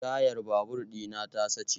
Tayar babur ɗi na ta sace.